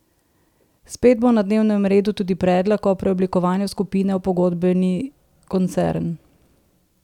Spet bo na dnevnem redu tudi predlog o preoblikovanju skupine v pogodbeni koncern.